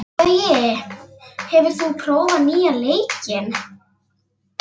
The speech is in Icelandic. Gaui, hefur þú prófað nýja leikinn?